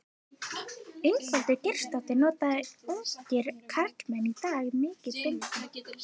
Ingveldur Geirsdóttir: Nota ungir karlmenn í dag mikið bindi?